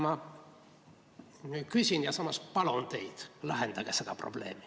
Ma palun teid, lahendage see probleem.